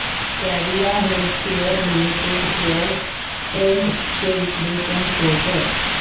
Cadila healthcare limited shares trends चे विश्लेषण show कर